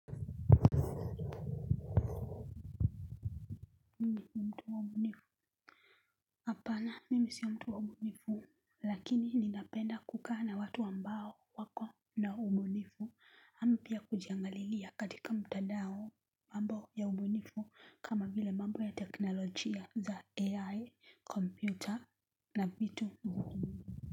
Mimi mtu wa umunifu hapana mimi sio mtu wa umunifu lakini ninapenda kukaa na watu wambao wako na ubunifu hampia kujiangalilia katika mtadao mambo ya ubunifu kama vile mambo ya teknolojia za ai kompyuta na vitu uhumu.